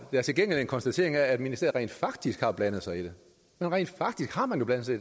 der til gengæld en konstatering af at ministeriet rent faktisk har blandet sig i det rent faktisk har man jo blandet sig